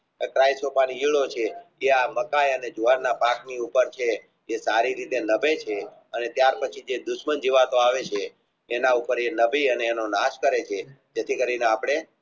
જે મકાઈ અને જુવારની પેટ ઉપર છે જે સારી રીતે નભે છે ત્યાર પછી જે દુશમન જીવો આવે છે એના ઉપર એ નભે અને એનો નાશ કરે છે જેથી કરીને આપણે